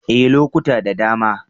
Ee, lokuta da dama.